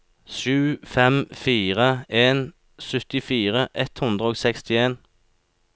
sju fem fire en syttifire ett hundre og sekstien